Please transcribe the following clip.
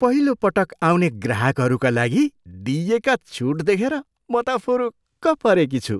पहिलोपटक आउने ग्राहकहरूका लागि दिइएका छुट देखेर त म फुरुक्क परेकी छु।